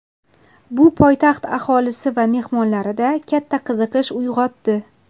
Bu poytaxt aholisi va mehmonlarida katta qiziqish uyg‘otdi.